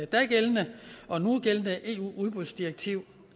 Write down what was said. dagældende og nugældende eu udbudsdirektiv